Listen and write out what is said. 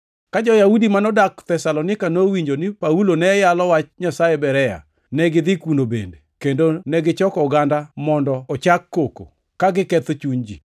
Ka jo-Yahudi manodak Thesalonika nowinjo ni Paulo ne yalo wach Nyasaye Berea, negidhi kuno bende, kendo negichoko oganda mondo ochak koko, ka giketho chuny ji.